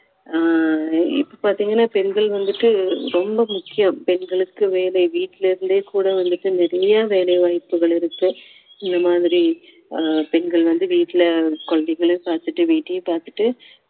ஆஹ் இப்போ பாத்தீங்கன்னா பெண்கள் வந்துட்டு ரொம்ப முக்கியம் பெண்களுக்கு வேலை வீட்டுல இருந்தே கூட வந்துட்டு நிறைய வேலை வாய்ப்புகள் இருக்கு இந்த மாதிரி அஹ் பெண்கள் வந்து வீட்டுல குழந்தைகளையும் பார்த்துட்டு வீட்டையும் பார்த்துட்டு